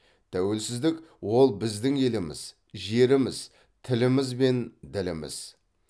тәуелсіздік ол біздің еліміз жеріміз тіліміз бен діліміз